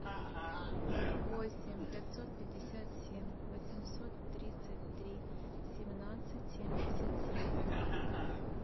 восемь пятьсот пятьдесят семь восемьсот тридцать три семнадцать семьдесят семь